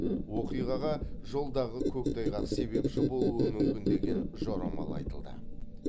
оқиғаға жолдағы көктайғақ себепші болуы мүмкін деген жорамал айтылды